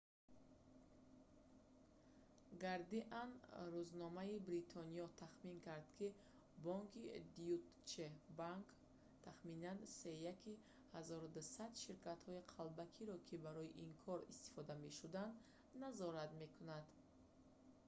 гардиан рӯзномаи бритониё тахмин кард ки бонки deutsche bank тахминан сеяки 1200 ширкатҳои қалбакиро ки барои ин кор истифода мешуданд назорат мекард